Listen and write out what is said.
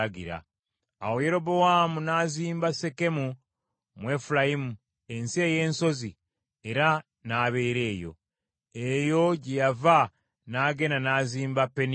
Awo Yerobowaamu n’azimba Sekemu mu Efulayimu ensi ey’ensozi, era n’abeera eyo. Eyo gye yava n’agenda n’azimba Penieri.